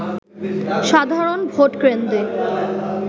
সাধারণ ভোটকেন্দ্রে